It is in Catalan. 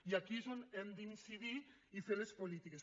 i aquí és on hem d’incidir i fer les polítiques